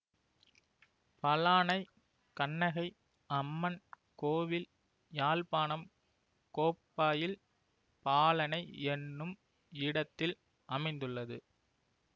பலானை கண்ணகை அம்மன் கோவில் யாழ்ப்பாணம் கோப்பாயில் பாலனை என்னும் இடத்தில் அமைந்துள்ளது